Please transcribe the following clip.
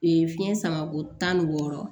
fiɲɛ samako tan ni wɔɔrɔ